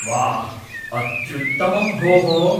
वाह्! अत्युत्तमं भोः।